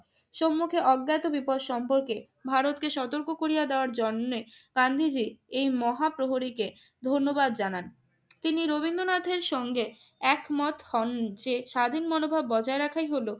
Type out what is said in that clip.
সম্মুখে অজ্ঞাত বিপদ সম্পর্কে ভারতকে সতর্ক করিয়া দেওয়ার জন্যে গান্ধীজি এই মহাপ্রহরীকে ধন্যবাদ জানান। তিনি রবীন্দ্রনাথের সঙ্গে একমত হন যে, স্বাধীন মনোভাব বজায় রাখাই হলো